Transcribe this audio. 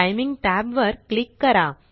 timing tab वर click करा